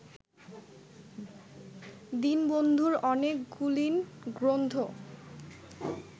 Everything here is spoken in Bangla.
দীনবন্ধুর অনেকগুলিন গ্রন্থ